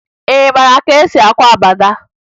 Ị mara ka e si akwa agbada?